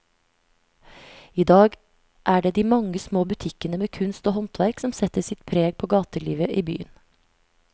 I dag er det de mange små butikkene med kunst og håndverk som setter sitt preg på gatelivet i byen.